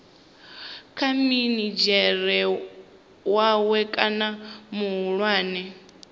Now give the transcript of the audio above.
kha minidzhere wawe kana muhulwane